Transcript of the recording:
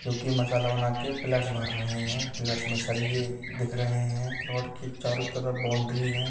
जोकि मसाला बनाके प्लेट्स भर रहे है प्लेट्स में सरिये दिख रहे हैं। प्लाट की चारों तरफ बाउंड्री है।